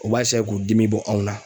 U b'a k'u dimi bɔ aNw Na.